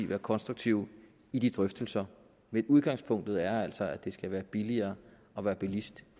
være konstruktive i de drøftelser men udgangspunktet er altså at det skal være billigere at være bilist